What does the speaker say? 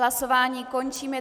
Hlasování končím.